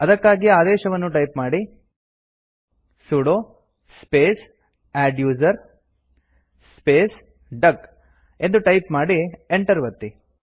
ಅದಕ್ಕಾಗಿ ಆದೇಶವನ್ನು ಟೈಪ್ ಮಾಡಿ160 sudo space adduser space duck ಎಂದು ಟೈಪ್ ಮಾಡಿ Enter ಒತ್ತಿ